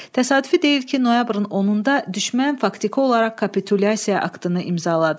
Təsadüfi deyil ki, noyabrın 10-da düşmən faktiki olaraq kapitulyasiya aktını imzaladı.